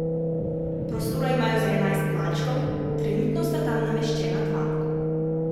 Prostora imajo za enajst malčkov, trenutno sta tam nameščena dva.